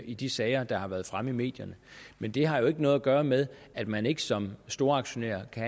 i de sager der været fremme i medierne men det har jo ikke noget at gøre med at man ikke som storaktionær kan